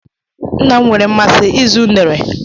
Nna m nwere mmasị ịzụ unere